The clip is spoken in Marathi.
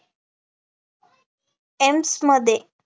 एम्समध्ये